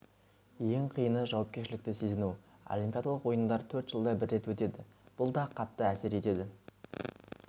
ең қиыны жауапкершілікті сезіну олимпиадалық ойындар төрт жылда бір рет өтеді бұл да қатты әсер етеді